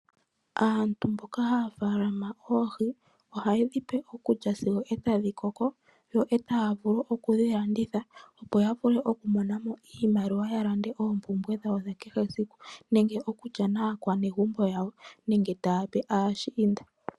Aantu mboka haya faalama oohi ohaye dhi pe iikulya sigo tadhi koko yo etaya vulu okudhi landitha, opo ya mone iimaliwa ya lande oompumbwe dhawo dha kehe siku nenge okulya naakwanegumbo yawo nenge taya pe aashiinda.